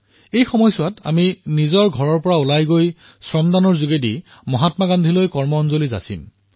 এই সময়চোৱাত আমি নিজৰ নিজৰ ঘৰৰ পৰা বাহিৰলৈ ওলাই শ্ৰমদানৰ জৰিয়তে মহাত্মা গান্ধী কাৰ্যঞ্জলি প্ৰদান কৰিম